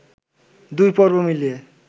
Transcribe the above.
দুই পর্ব মিলিয়ে